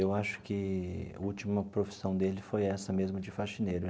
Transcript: Eu acho que a última profissão dele foi essa mesmo, de faxineiro.